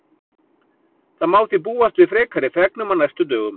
Það má því búast við frekari fregnum á næstu dögum.